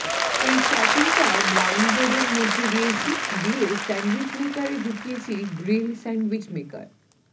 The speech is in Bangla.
এই স্টাফিং টা ব্রাউন ব্রেড এর মধ্যে দিয়েছি দিয়ে স্যান্ডুইচ মেকারে ঢুকিয়েছে গ্রিল স্যান্ডউইচ মেকার